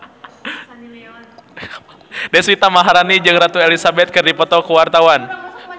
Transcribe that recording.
Deswita Maharani jeung Ratu Elizabeth keur dipoto ku wartawan